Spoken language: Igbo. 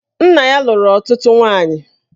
Nna ya lụrụ ọtụtụ nwaanyị